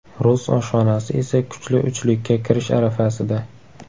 Rus oshxonasi esa kuchli uchlikka kirish arafasida.